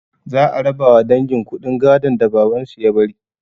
Za a rabawa dangin kuɗin gadon da babansu ya bari